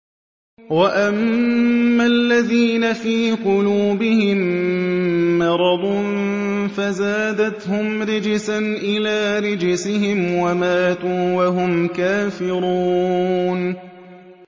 وَأَمَّا الَّذِينَ فِي قُلُوبِهِم مَّرَضٌ فَزَادَتْهُمْ رِجْسًا إِلَىٰ رِجْسِهِمْ وَمَاتُوا وَهُمْ كَافِرُونَ